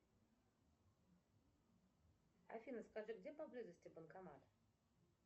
афина скажи где поблизости банкомат